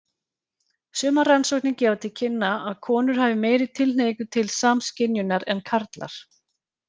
Sumar rannsóknir gefa til kynna að konur hafi meiri tilhneigingu til samskynjunar en karlar.